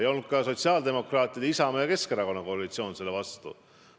Ei olnud ka sotsiaaldemokraatide, Isamaa ja Keskerakonna koalitsioon selle vastu.